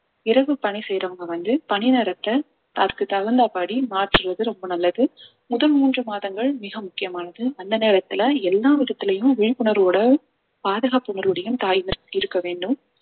இரவு பணி செய்யறவங்க வந்து பணிநேரத்தை அதுக்கு தகுந்தபடி மாற்றுவது ரொம்ப நல்லது முதல் மூன்று மாதங்கள் மிக முக்கியமானது அந்த நேரத்துல எல்லா விதத்துலயும் விழிப்புணர்வோட பாதுகாப்பு உணர்வோடையும் தாய் இருக்க வேண்டும்